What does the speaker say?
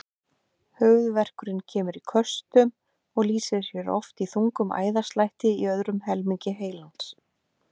Höfuðverkurinn kemur í köstum og lýsir sér oft í þungum æðaslætti í öðrum helmingi heilans.